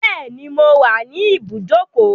Bẹ́ẹ̀ni, mo wà ní ibùdókọ̀.